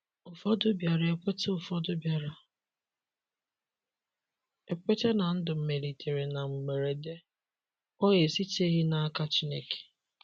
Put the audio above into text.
Ụfọdụ biara ekweta Ụfọdụ biara ekweta na ndụ melitere na mgberede,o esiteghị n’aka Chineke